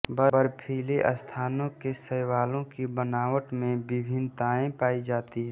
बर्फीले स्थानों के शैवालों की बनावट में विभिन्नता पाई जाती है